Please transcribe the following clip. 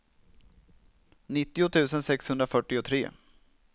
nittio tusen sexhundrafyrtiotre